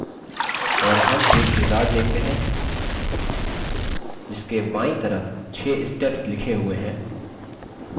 और हम एक wizard देखते हैं जिसके बायीं तरफ 6 steps लिखे हुए हैं